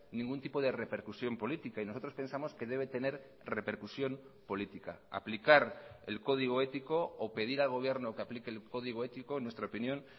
ningún tipo de repercusión política y nosotros pensamos que debe tener repercusión política aplicar el código ético o pedir al gobierno que aplique el código ético en nuestra opinión